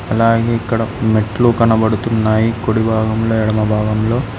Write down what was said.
అలాగే ఇక్కడ మెట్లు కనబడుతున్నాయి కుడిభాగంలో ఎడమ భాగంలో.